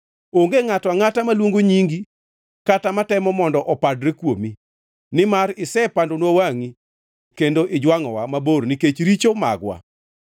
Onge ngʼato angʼata maluongo nyingi, kata matemo mondo opadre kuomi, nimar isepandonwa wangʼi kendo ijwangʼowa mabor nikech richo magwa.